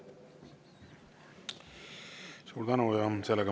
Suur tänu!